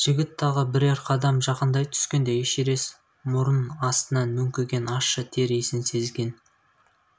жігіт тағы бірер қадам жақындай түскенде эшерест мұрын астынан мүңкіген ащы тер иісін сезген